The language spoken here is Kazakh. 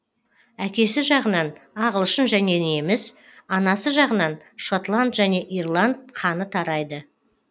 әкесі жағынан ағылшын және неміс анасы жағынан шотланд және ирланд қаны тарайды